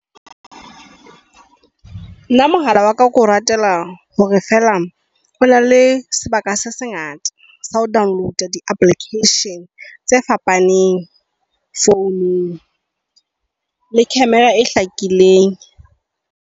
Nna mohala wa ka ke o ratela hore fela ona le sebaka se sengata sa ho download-a di-applications tse fapaneng founung, le camera e hlakileng.